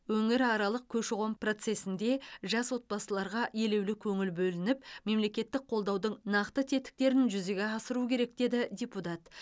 өңіраралық көші қон процесінде жас отбасыларға елеулі көңіл бөлініп мемлекеттік қолдаудың нақты тетіктерін жүзеге асыру керек деді депутат